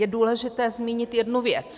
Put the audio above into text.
Je důležité zmínit jednu věc.